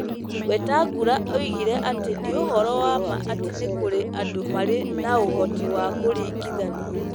Wetangula oigire atĩ nĩ ũhoro wa ma atĩ nĩ kũrĩ andũ marĩ na ũhoti wa kũringithania.